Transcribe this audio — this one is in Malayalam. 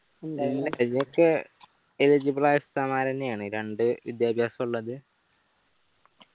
eligible ആയ ഉസ്താദ്‌മാർ എന്നെയാണ് രണ്ട്‌ വിദ്യാഭ്യാസുള്ളത്